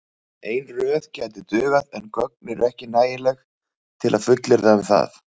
Ein röð gæti dugað en gögn eru ekki nægileg til að fullyrða um það.